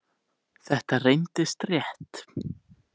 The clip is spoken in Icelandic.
Þetta reyndist rétt.